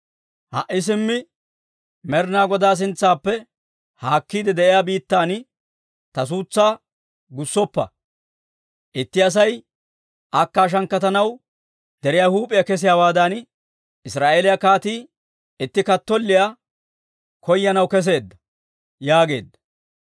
Ha"i simmi Med'inaa Godaa sintsaappe haakkiide de'iyaa biittan ta suutsaa gussoppa; itti Asay akka shankkatanaw deriyaa huup'iyaa kesiyaawaadan, Israa'eeliyaa kaatii itti kattolliyaa koyanaw kesseedda» yaageedda.